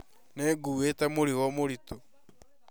Nĩ nguĩte mũrigo mũritũ